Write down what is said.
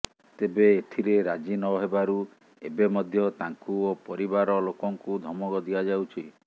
ତେବେ ଏଥିରେ ରାଜି ନହେବାରୁ ଏବେ ମଧ୍ୟ ତାଙ୍କୁ ଓ ପରିବାର ଲୋକଙ୍କୁ ଧମକ ଦିଆଯାଉଛି